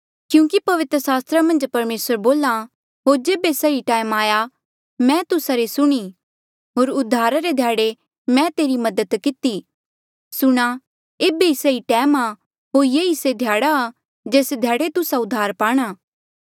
क्यूंकि पवित्र सास्त्रा मन्झ परमेसर बोल्हा होर जेबे सही टैम आया मैं तुस्सा री सुणीं होर उद्धारा रे ध्याड़े मैं तेरी मदद किती सुणा ऐबे ही सही टैम आ होर ये ही से ध्याड़ा आ जेस ध्याड़े तुस्सा उद्धारा पाणा